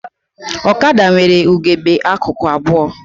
Ọkada nwere ugegbe akụkụ abụọ